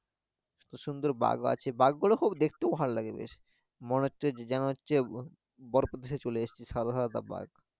সুন্দর সুন্দর বাঘ আছে বাঘগুলো খুব দেখতেও ভালো লাগে বেশ মনে হচ্ছে যেন হচ্ছে বরফের দেশে চলে এসেছি সাদা সাদা বাঘ